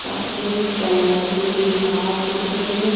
सफेद कलर की दीवार दिख रही है।